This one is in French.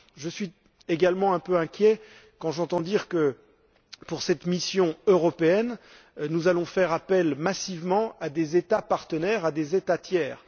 Je suis également un peu inquiet quand j'entends dire que, pour cette mission européenne, nous allons faire appel massivement à des États partenaires, à des États tiers.